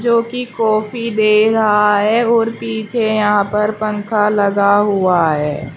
जो कि कॉफी दे रहा है और पीछे यहां पर पंखा लगा हुआ है।